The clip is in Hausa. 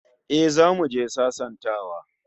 Eh, zamu je sasantawa